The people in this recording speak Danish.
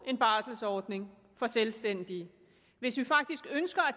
en barselsordning for selvstændige hvis vi faktisk ønsker at